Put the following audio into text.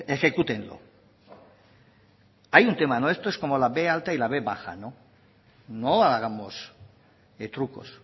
ejecútenlo hay un tema eso es como la b alta y la b baja no hagamos trucos